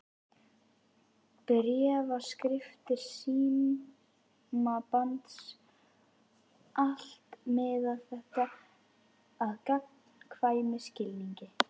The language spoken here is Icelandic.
Bréfaskriftir, símasamband, allt miðaði þetta að gagnkvæmum skilningi.